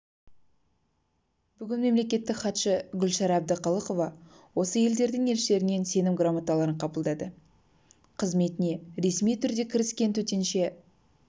бүгін мемлекеттік хатшы гүлшара әбдіқалықова осы елдердің елшілерінен сенім грамоталарын қабылдады қызметіне ресми түрде кіріскен төтенше